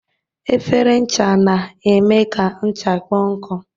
Efere ncha na-eme ka ncha kpọọ nkụ.